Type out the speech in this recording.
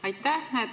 Aitäh!